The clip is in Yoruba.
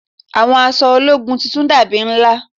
Àwọn aṣọ ológun titun dàbí ńlá